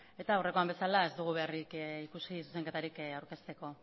eta aurrekoan bezala ez dugu beharrik ikusi zuzenketarik aurkezteko